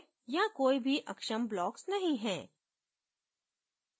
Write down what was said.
यहां कोई भी अक्षम blocks नहीं है